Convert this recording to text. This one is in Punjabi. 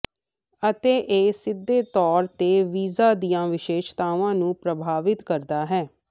ਅਤੇ ਇਹ ਸਿੱਧੇ ਤੌਰ ਤੇ ਬੀਜਾਂ ਦੀਆਂ ਵਿਸ਼ੇਸ਼ਤਾਵਾਂ ਨੂੰ ਪ੍ਰਭਾਵਿਤ ਕਰਦਾ ਹੈ